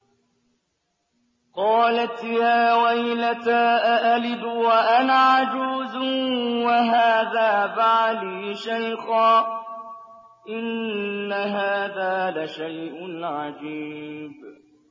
قَالَتْ يَا وَيْلَتَىٰ أَأَلِدُ وَأَنَا عَجُوزٌ وَهَٰذَا بَعْلِي شَيْخًا ۖ إِنَّ هَٰذَا لَشَيْءٌ عَجِيبٌ